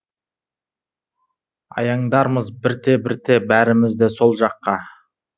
аяңдармыз бірте бірте бәріміз де сол жаққа